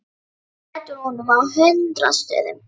Það blæddi úr honum á hundrað stöðum.